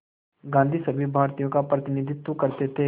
गांधी सभी भारतीयों का प्रतिनिधित्व करते थे